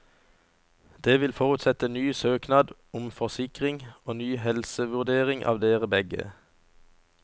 Det vil forutsette ny søknad om forsikring og ny helsevurdering av dere begge.